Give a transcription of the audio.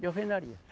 de alvenaria.